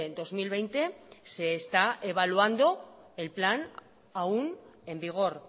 dos mil veinte se está evaluando el plan aún en vigor